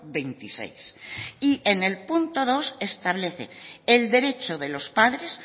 veintiséis y en el punto dos establece el derecho de los padres